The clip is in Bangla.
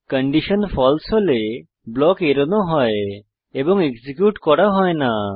কন্ডিশন ফালসে হলে ব্লক এড়ানো হয় এবং এক্সিকিউট করা হয় না